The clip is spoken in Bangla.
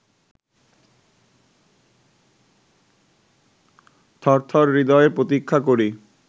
থরথর হৃদয়ে প্রতীক্ষা করি